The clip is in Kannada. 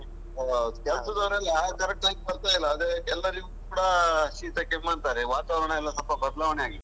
ಹೌದು ಕೆಲಸದವರೆಲ್ಲ correct ಆಗಿ ಬರ್ತಾ ಇಲ್ಲ, ಅದೇ ಎಲ್ಲರಿಗೂ ಕೂಡ ಶೀತ ಕೆಮ್ಮು ಅಂತಾರೆ, ವಾತಾವರಣ ಎಲ್ಲ ಸ್ವಲ್ಪ ಬದಲಾವಣೆಯಾಗಿದೆ.